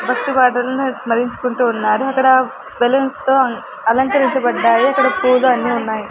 భక్తి పాటలను స్మరించుకుంటూ ఉన్నారు అక్కడ బెలూన్స్ తో అలంకరించబడ్డాయి అక్కడ పూలు అన్నీ ఉన్నాయి.